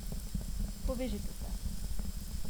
Povežite se!